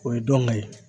O ye dɔn ga ye